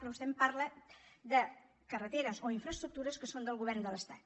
però vostè em parla de carreteres o infraestructures que són del govern de l’estat